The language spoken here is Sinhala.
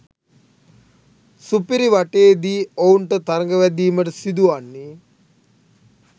සුපිරිවටයේදී ඔවුන්ට තරගවැදීමට සිදුවන්නේ